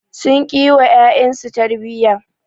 Sun ƙi yi wa ƴaƴansu su tarbiyya.